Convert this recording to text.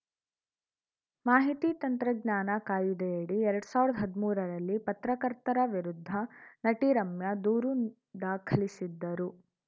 ಮಾಹಿತಿ ತಂತ್ರಜ್ಞಾನ ಕಾಯಿದೆಯಡಿ ಎರಡ್ ಸಾವಿರ್ದ ಹದ್ಮೂರ ರಲ್ಲಿ ಪತ್ರಕರ್ತರ ವಿರುದ್ಧ ನಟಿ ರಮ್ಯಾ ದೂರು ದಾಖಲಿಸಿದ್ದರು